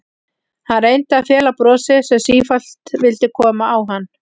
Hann reyndi að fela brosið sem sífellt vildi koma á hann.